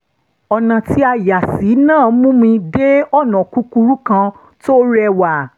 ọ̀nà tí a yà sí náà mú mi dé ọ̀nà kúkúrú kan tó rẹ́wà